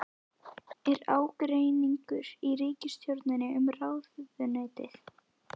Er ágreiningur í ríkisstjórninni um ráðuneytið?